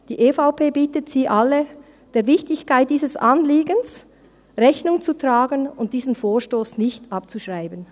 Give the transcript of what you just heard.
Die EVP bittet Sie alle, der Wichtigkeit dieses Anliegens Rechnung zu tragen und diesen Vorstoss nicht abzuschreiben.